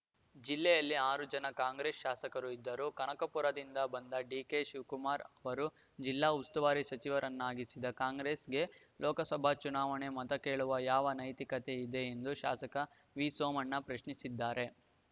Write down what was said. ಜಿಲ್ಲೆಯಲ್ಲಿ ಆರು ಜನ ಕಾಂಗ್ರೆಸ್‌ ಶಾಸಕರು ಇದ್ದರೂ ಕನಕಪುರದಿಂದ ಬಂದ ಡಿಕೆಶಿವಕುಮಾರ್‌ ಅವರು ಜಿಲ್ಲಾ ಉಸ್ತುವಾರಿ ಸಚಿವರನ್ನಾಗಿಸಿದ ಕಾಂಗ್ರೆಸ್‌ಗೆ ಲೋಕಸಭಾ ಚುನಾವಣೆಗೆ ಮತ ಕೇಳುವ ಯಾವ ನೈತಿಕತೆ ಇದೆ ಎಂದು ಶಾಸಕ ವಿಸೋಮಣ್ಣ ಪ್ರಶ್ನಿಸಿದ್ದಾರೆ